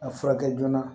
A furakɛ joona